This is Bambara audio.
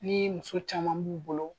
Ni muso caman b'u bolo